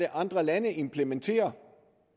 andre lande implementerer